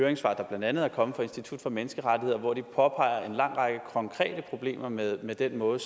høringssvar der blandt andet er kommet fra institut for menneskerettigheder hvor de påpeger en lang række konkrete problemer med med den måde